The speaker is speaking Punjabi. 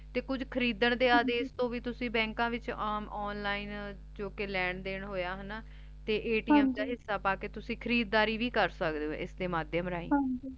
ਤੇ ਕੁਜ ਖ਼ਰੀਦਨ ਦੇ ਆਦੇਸ਼ ਤੋਂ ਵੀ ਤੁਸੀਂ ਬੈੰਕਾਂ ਵਿਚ ਆਮ online ਜੋ ਕੇ ਲੈਣ ਦਿਨ ਹੋਯਾ ਹਾਨਾ ਤੇ ਦਾ ਹਿਸਾ ਪੀ ਕੇ ਤੁਸੀਂ ਖਰੀਦਾਰੀ ਵੀ ਕਰ ਸਕਦੇ ਊ ਏਸ ਦੇ ਮਾਧਿਯਮ ਰਾਹੀ